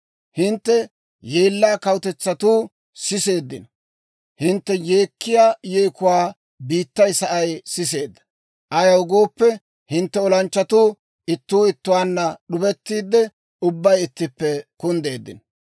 Hintte yeellaa kawutetsatuu siseeddino; Hintte yeekkiyaa yeekuwaa biittay sa'ay siseedda. Ayaw gooppe, hintte olanchchatuu ittuu ittuwaan d'ubettiide, ubbay ittippe kunddeeddino.